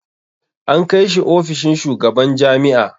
An kai shi ofishin shugaban jami'a.